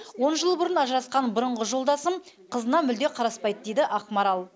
он жыл бұрын ажырасқан бұрынғы жолдасым қызына мүлде қараспайды дейді ақмарал